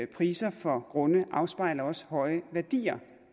priser for grunde afspejler også høje værdier